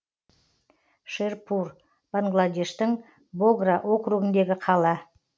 шерпур бангладештің богра округіндегі қала